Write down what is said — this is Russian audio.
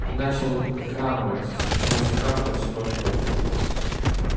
он начал прихрамывать сначала слегка потом все больше и больше